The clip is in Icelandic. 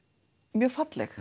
mjög falleg